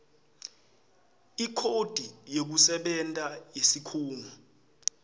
ikhodi yekusebenta yesikhungo